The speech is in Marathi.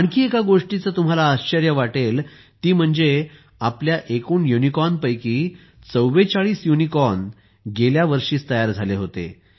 आणखी एका गोष्टीचे तुम्हाला आश्चर्य वाटेल ती म्हणजे आपल्या एकूण युनिकॉर्नपैकी 44 युनिकॉर्न गेल्या वर्षीच तयार झाले होते